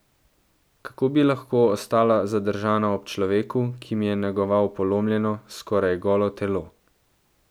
Kako bi lahko ostala zadržana ob človeku, ki mi je negoval polomljeno, skoraj golo telo?